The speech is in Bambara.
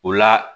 O la